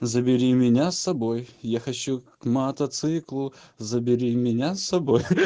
забери меня с собой я хочу к мотоциклу забери меня с собой хи-хи